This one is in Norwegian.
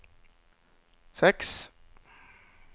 seks